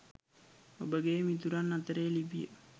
ඔබගේ මිතුරන් අතරේ ලිපිය